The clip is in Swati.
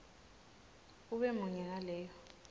ube munye ngaleyo